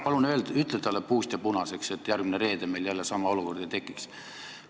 Palun tee talle puust ja punaseks, et järgmine reede meil jälle sama olukord ei tekiks.